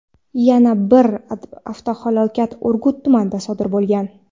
Yana bir avtohalokat Urgut tumanida sodir bo‘lgan.